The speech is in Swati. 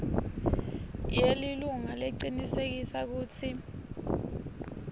yelilunga lecinisekisa kutsi